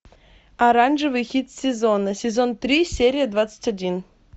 оранжевый хит сезона сезон три серия двадцать один